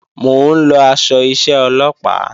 Mò ń lọ aṣọ iṣẹ́ Ọlọ́pàá